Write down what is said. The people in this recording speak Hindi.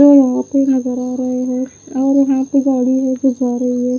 और नज़र आ रहे हो गाड़ी ले के जा रहा हैं।